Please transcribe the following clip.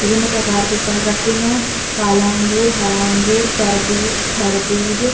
विभिन्न प्रकार के फल रखें हैं। काला अंगूर हरा अंगूर तरबूज खरबूज --